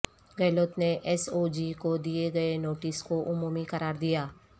گہلوت نے S O G کو دئے گئے نوٹس کو عمومی قرار دیا